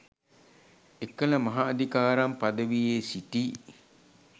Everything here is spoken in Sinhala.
එකල මහ අදිකාරම් පදවියේ සිටි